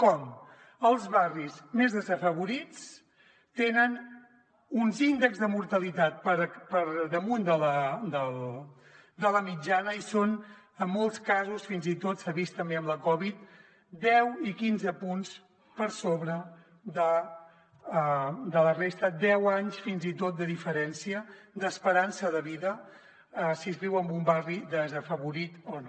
com els barris més desafavorits tenen uns índexs de mortalitat per damunt de la mitjana i són en molts casos fins i tot s’ha vist també amb la covid deu i quinze punts per sobre de la resta deu anys fins i tot de diferència d’esperança de vida si es viu en un barri desafavorit o no